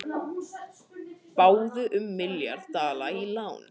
Báðu um milljarð dala í lán